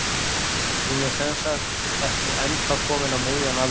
Hún er sem sagt ekki ennþá komin á miðjan aldur.